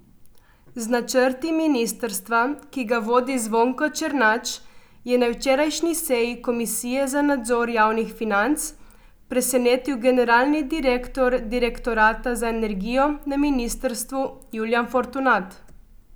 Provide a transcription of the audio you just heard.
Z načrti ministrstva, ki ga vodi Zvonko Černač, je na včerajšnji seji komisije za nadzor javnih financ presenetil generalni direktor direktorata za energijo na ministrstvu Julijan Fortunat.